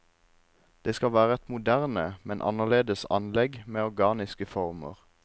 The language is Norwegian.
Det skal være et moderne, men annerledes anlegg med organiske former.